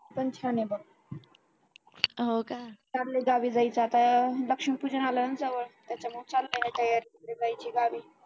पण छान आहे बघ चाललंय गावी जायचं आता लक्ष्मीपूजन आलं ना जवळ त्याच्यामुळे चालले तयारी तिकडे जायचे गावी